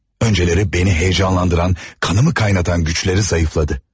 Öncələri məni həyəcanlandıran, qanımı qaynadanan gücləri zəiflədi.